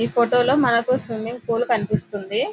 ఈ ఫోటో లో మనకు స్విమ్మింగ్ పూల్ కనిపిస్తుంది.